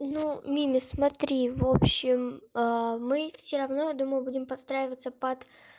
ну мими смотри в общем мы всё равно думаю будем подстраиваться под